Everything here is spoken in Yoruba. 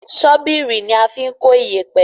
Ṣọ́bìrì ní a fín kọ iyepe